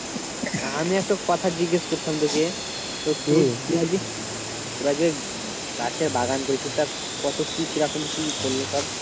তা আমি একটা কথা জিজ্ঞেস করতাম তোকে তোরা যে গাছের বাগান করেছিস তা কত কি কিরকম কি পড়লো সব?